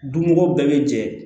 Donmɔgɔ bɛɛ bɛ jɛ